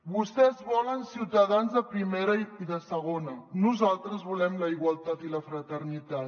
vostès volen ciutadans de primera i de segona nosaltres volem la igualtat i la fraternitat